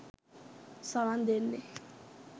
සවන් දෙන්නේ